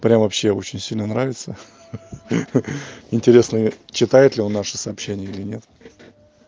прямо вообще очень сильно нравится хи-хи интересно читает ли он наши сообщения или нет